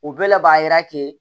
O bɛɛ la b'a yira k'e